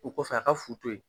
O kɔfɛ a ka fu to yen.